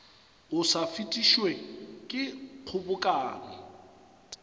o sa fetišwe ke kgobokano